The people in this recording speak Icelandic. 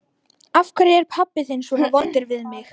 Af hverju er pabbi þinn svona vondur við þig?